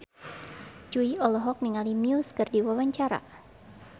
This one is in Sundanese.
Jui olohok ningali Muse keur diwawancara